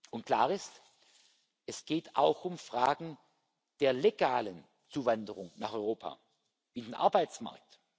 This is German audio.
Und klar ist Es geht auch um Fragen der legalen Zuwanderung nach Europa, in den Arbeitsmarkt.